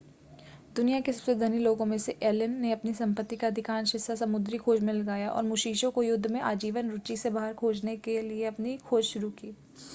दुनिया के सबसे धनी लोगों में से एक एलन ने अपनी संपत्ति का अधिकांश हिस्सा समुद्री खोज में लगाया और मुशीशी को युद्ध में आजीवन रुचि से बाहर खोजने के लिए अपनी खोज शुरू की